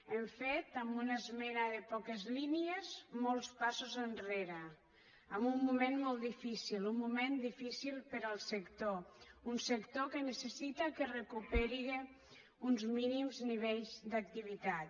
hem fet amb una esmena de poquetes línies molts passos enrere en un moment molt difícil un moment difícil per al sector un sector que necessita que es recuperin uns mínims nivells d’activitat